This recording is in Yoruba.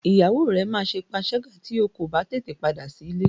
Ìyàwó rẹ máa ṣe panṣágà tí o kò bá tètè padà sí ilé.